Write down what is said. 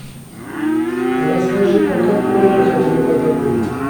расскажи ка как проехать в этот отель